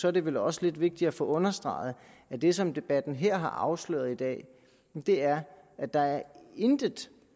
er det vel også lidt vigtigt at få understreget at det som debatten her har afsløret i dag er at der intet